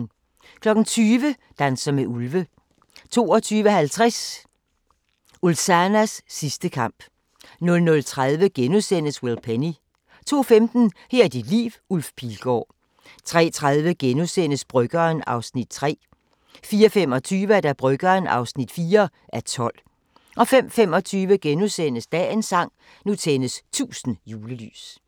20:00: Danser med ulve 22:50: Ulzanas sidste kamp 00:30: Will Penny * 02:15: Her er dit liv – Ulf Pilgaard 03:30: Bryggeren (3:12)* 04:25: Bryggeren (4:12) 05:25: Dagens sang: Nu tændes 1000 julelys *